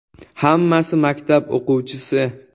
Hammasi maktab o‘quvchisi.